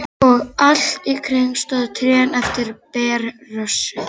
Og allt í kring stóðu trén eftir berrössuð.